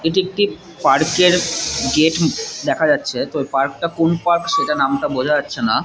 এটি একটি পার্ক -এর গেট দেখা যাচ্ছে তো পার্ক -টা কোন পার্ক সেটা নামটা বোঝা যাচ্ছে না ।